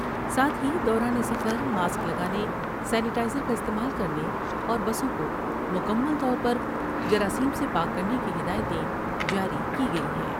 ساتھ ہی دوران سفر ماسک لگانے سینی ٹائز ر کا استعمال کر نے اور بسوں کو مکمل طور پر جرائم سے پاک کرنے کی ہدایتیں جاری کی گئی ہیں ۔